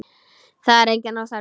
Það er enginn óþarfi.